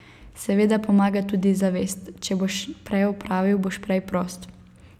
Seveda pomaga tudi zavest, če boš prej opravil, boš prej prost.